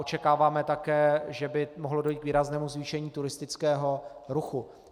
Očekáváme také, že by mohlo dojít k výraznému zvýšení turistického ruchu.